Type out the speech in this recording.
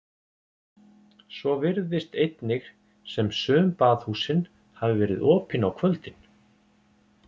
Svo virðist einnig sem sum baðhúsin hafi verið opin á kvöldin.